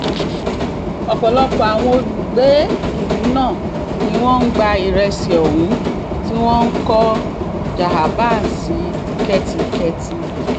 ọ̀pọ̀lọpọ̀ àwọn olùgbé ìlú náà ni wọ́n ń gba ìrẹsì ohun tí wọ́n kọ́ jahaban sí kẹ́tíkẹ́tì